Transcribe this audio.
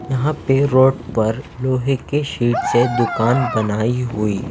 यहाँ पे रोड पर लोहे के शीट से दुकान बनाई हुई--